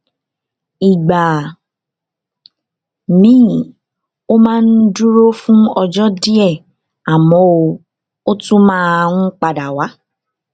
ìgbà míì ó máa ń dúró fún ọjọ díẹ àmọ ó tún máa ń padà wá